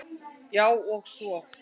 Já, og svo.